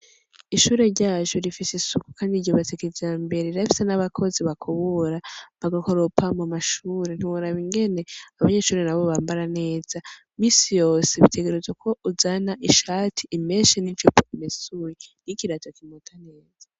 Ishure ryacu rifise isuku kandi ryubatse kijambere, rirafise n'abakozi bakubura bagakoropa mu mashure. Ntiworaba ingene abanyeshure nabo bambara neza, misi yose bategerezwa ko uzana ishati imeshe n'ijipo imesuye n'ikirato kimota neza.